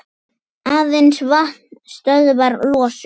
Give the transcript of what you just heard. Aðeins vatn stöðvar losun.